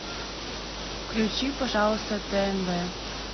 включи пожалуйста тнв